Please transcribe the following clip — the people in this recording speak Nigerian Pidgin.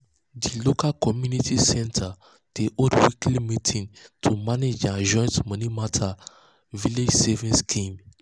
the local community center dey hold weekly meeting to manage their joint money matter village savings scheme.